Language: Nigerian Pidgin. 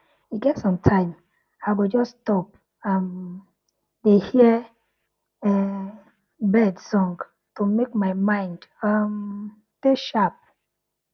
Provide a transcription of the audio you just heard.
e get sometime i go just stop um dey hear um bird sound to make my mind um dey sharp